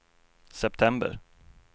september